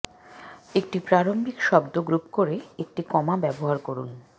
একটি প্রারম্ভিক শব্দ গ্রুপ পরে একটি কমা ব্যবহার করুন